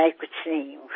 मैं कुछ नहीं हूँ